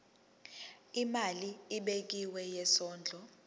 imali ebekiwe yesondlo